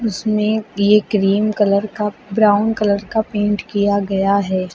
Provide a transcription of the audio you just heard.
इसमें ये cream colour का ब्राउन कलर का पेंट किया गया है।